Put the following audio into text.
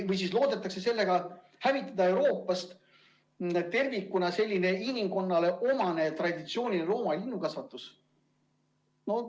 Kas ehk loodetakse sellega hävitada Euroopas tervikuna inimkonnale igiomane traditsiooniline looma- ja linnukasvatus.